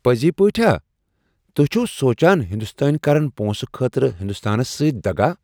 پٔزِۍ پٲٹھۍ ہا ؟ توہہِ چھِوٕ سوچان ہندوستانۍ کرن پونٛسہٕ خٲطرٕ ہندستانس سۭتۍ دغا ؟